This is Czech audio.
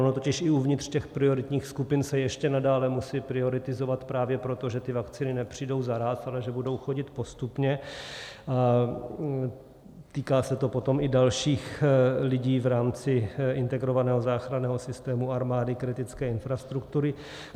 Ono totiž i uvnitř těch prioritních skupin se ještě nadále musí prioritizovat právě proto, že ty vakcíny nepřijdou naráz, ale že budou chodit postupně, a týká se to potom i dalších lidí v rámci integrovaného záchranného systému, armády, kritické infrastruktury.